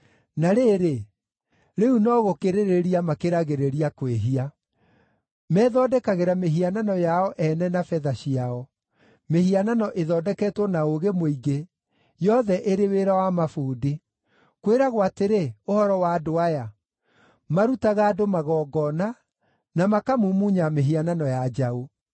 Na rĩrĩ, rĩu no gũkĩrĩrĩria makĩragĩrĩria kwĩhia; methondekagĩra mĩhianano yao ene na betha ciao, mĩhianano ĩthondeketwo na ũũgĩ mũingĩ, yothe ĩrĩ wĩra wa mabundi. Kwĩragwo atĩrĩ, ũhoro wa andũ aya, “Marutaga andũ magongona, na makamumunya mĩhianano ya njaũ.”